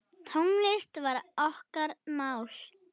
Tónlist var okkar mál.